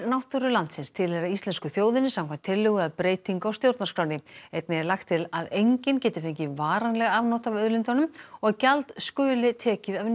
náttúru landsins tilheyra íslensku þjóðinni samkvæmt tillögu að breytingu á stjórnarskránni einnig er lagt til að enginn geti fengið varanleg afnot af auðlindunum og að gjald skuli tekið af